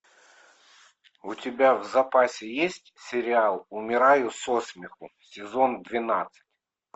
у тебя в запасе есть сериал умираю со смеху сезон двенадцать